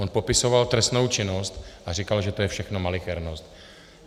On popisoval trestnou činnost a říkal, že je to všechno malichernost.